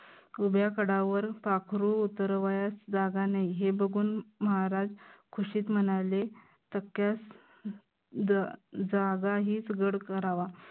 उभ्या कडावर पाखरू उतरवायास जागा नाही, हे बघून महाराज खुशीत म्हणाले जागा हीच गड करावा.